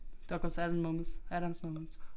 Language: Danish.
Der bare særlige moments highlights moments